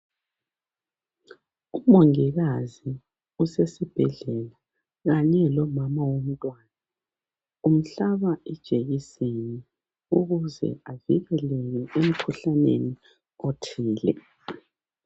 Umongikazi usesibhedlela kanye lomama womntwana, umhlaba ijekiseni ukuze avikeleke emkhuhlaneni othile.